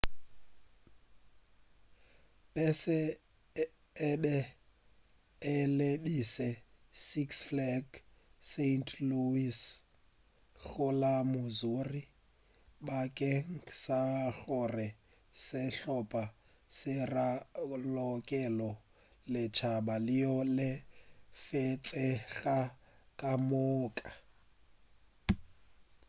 pese e be e lebile six flags st louis go la missouri bakeng sa gore sehlopa se ralokele lešhaba leo le lefetšego ka moka